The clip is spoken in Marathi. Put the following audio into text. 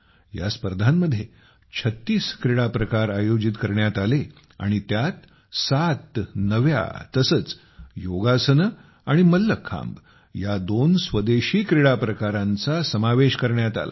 या स्पर्धांमध्ये 36 क्रीडा प्रकार आयोजित करण्यात आले आणि त्यात 7 नव्या तसेच योगासने आणि मल्लखांब या दोन स्वदेशी क्रीडाप्रकारांचा समावेश करण्यात आला